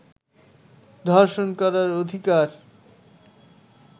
ধর্ষণ করার অধিকার